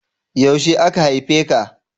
Yaushe aka haife ka?